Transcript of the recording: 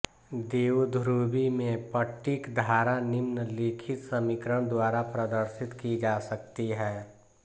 द्विध्रुवी में पट्टिक धारा निम्नलिखित समीकरण द्वारा प्रदर्शित की जा सकती है